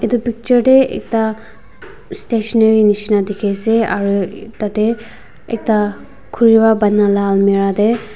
etu picture tey ekta stationary neshna dekhe ase aro tate ekta khurebra banai la almera te.